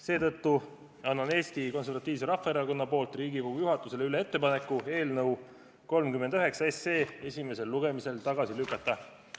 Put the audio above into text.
Seetõttu annan Eesti Konservatiivse Rahvaerakonna nimel Riigikogu juhatusele üle ettepaneku eelnõu 39 esimesel lugemisel tagasi lükata.